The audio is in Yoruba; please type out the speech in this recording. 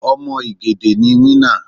Ọmọ igede ni winner.